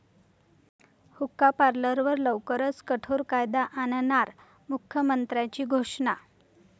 हुक्का पार्लरवर लवकरच कठोर कायदा आणणार', मुख्यमंत्र्याची घोषणा